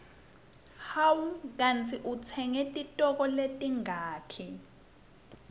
hawu kandzi utsenge titoko letingaki